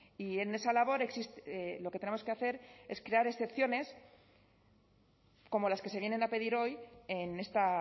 y en esa labor lo que tenemos que hacer es crear excepciones como las que se vienen a pedir hoy en esta